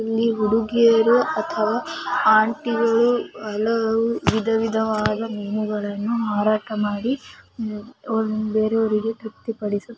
ಇಲ್ಲಿ ಹುಡುಗಿಯರು ಅಥವಾ ಆಂಟಿಗಳು ಹಲವು ವಿಧವಿಧವಾದ ಮೀನುಗಳನ್ನು ಮಾರಾಟ ಮಾಡಿ ಬೇರೆಯವರಿಗೆ ತೃಪ್ತಿಪಡಿಸುತ್ತಾರೆ.